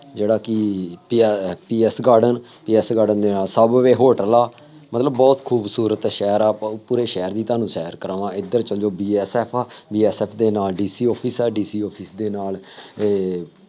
ਜਿਹੜਾ ਕਿ TR TS garden ਦੇ ਨਾਲ ਸਬਵੇਅ ਹੋਟਲ ਆ ਮਤਲਬ ਬਹੁਤ ਖੂਬਸੂਰਤ ਸ਼ਹਿਰ ਆ, ਆਪਾਂ ਉਹ ਪੂਰੇ ਸ਼ਹਿਰ ਦੀ ਤੁਹਾਨੂੰ ਸੈਰ ਕਰਾਵਾਂਗੇ, ਇੱਧਰ ਚੱਲ ਜਾਉ BSF ਆ, BSF ਦੇ ਨਾਲ DC office ਆ, DC office ਦੇ ਨਾਲ ਇਹ